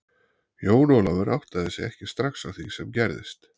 Jón Ólafur áttaði sig ekki srax á því sem gerðist.